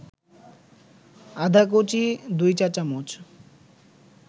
আদাকুচি ২ চা-চামচ